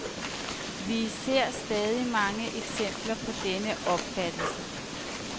Vi ser stadig mange eksempler på denne opfattelse.